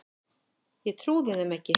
Ég trúði þeim ekki.